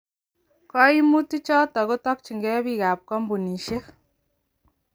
kaimutk chotok kotorjingei bik ak kambunisiek.